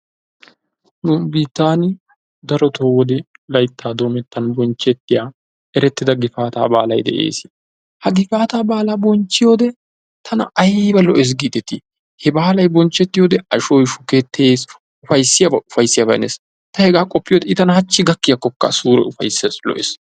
Nu biittan darotoo wode layttaa doomettan bonchchettiya erettida gifaataa baalay de'ees. Ha gifaataa baalaa bonchchiyode tana ayiba lo'ees giideti! he baalay bonchchettiyode ashoy shukettees, ufayissiyabay ufayissiyabay hanees. Ta hegaa qoppiyode I tana hachchi gakkiyakkokka sure ufayissees lo'ees.